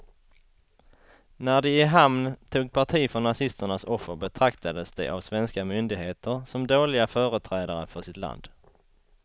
När de i hamn tog parti för nazisternas offer betraktades de av svenska myndigheter som dåliga företrädare för sitt land.